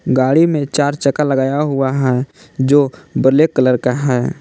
गाड़ी में चार चक्का लगाया हुआ हैं जो ब्लैक कलर का है।